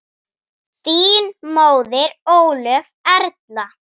Þín móðir, Ólöf Erla.